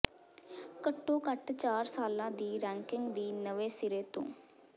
ਘੱਟੋ ਘੱਟ ਚਾਰ ਸਾਲਾਂ ਦੀ ਰੈਂਕਿੰਗ ਦੀ ਨਵੇਂ ਸਿਰੇ ਤੋਂ